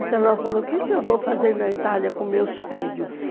Então ela falou, o que eu vou fazer na Itália com meus filhos?